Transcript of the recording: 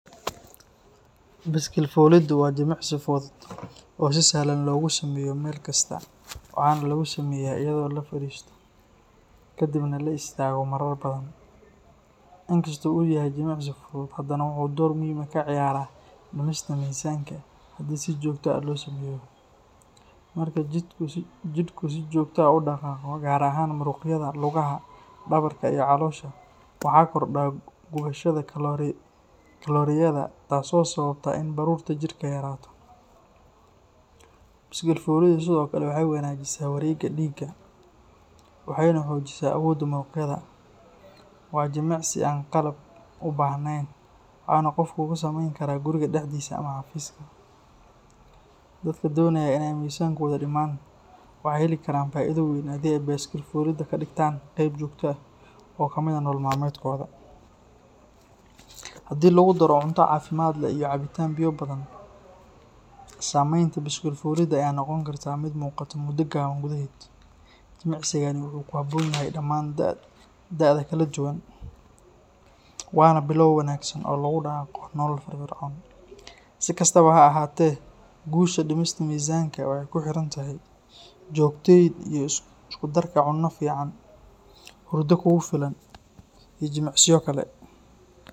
Biskil fuliddu waa jimicsi fudud oo si sahlan loogu sameeyo meel kasta, waxaana lagu sameeyaa iyadoo la fariisto kadibna la istaago marar badan. Inkastoo uu yahay jimicsi fudud, haddana wuxuu door muhiim ah ka ciyaaraa dhimista miisaanka haddii si joogto ah loo sameeyo. Marka jidhku si joogto ah u dhaqaaqo, gaar ahaan muruqyada lugaha, dhabarka, iyo caloosha, waxaa kordha gubashada kalooriyada taasoo sababta in baruurta jirka yaraato. Biskil fuliddu sidoo kale waxay wanaajisaa wareegga dhiigga, waxayna xoojisaa awoodda muruqyada. Waa jimicsi aan qalab u baahnayn, waxaana qofku ku samayn karaa guriga dhexdiisa ama xafiiska. Dadka doonaya inay miisaankooda dhimaan waxay heli karaan faa’iido weyn haddii ay biskil fulidda ka dhigtaan qayb joogto ah oo ka mid ah nolol maalmeedkooda. Haddii lagu daro cunto caafimaad leh iyo cabitaan biyo badan, saameynta biskil fulidda ayaa noqon karta mid muuqata muddo gaaban gudaheed. Jimicsigani wuxuu ku habboon yahay dhammaan da’da kala duwan, waana bilow wanaagsan oo loogu dhaqaaqo nolol firfircoon. Si kastaba ha ahaatee, guusha dhimista miisaanka waxay ku xiran tahay joogtaynta iyo isku darka cunno fiican, hurdo kugu filan, iyo jimicsiyo kale.